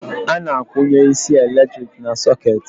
Ana akwụnye isi eletrik na socketị